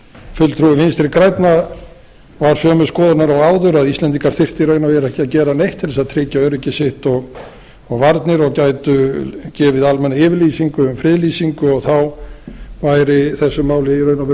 fulltrúi vinstri grænna var sömu skoðunar og áður að íslendingar þyrftu í raun og veru ekki að gera neitt til að tryggja öryggi sitt og varnir og gætu gefið almannayfirlýsingu og friðlýsingu og þá væri þessu máli í raun og veru